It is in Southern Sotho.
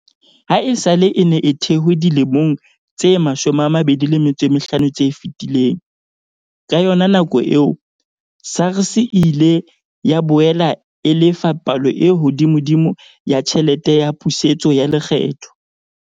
Ha esale e ne e thehwe dilemong tse 25 tse fetileng, ka yona nako eo, SARS e ile ya boela e lefa palo e hodimodimo ya tjhelete ya pusetso ya lekgetho.